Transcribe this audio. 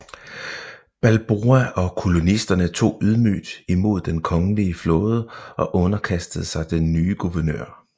Balboa og kolonisterne tog ydmygt imod den kongelige flåde og underkastede sig den nye guvernør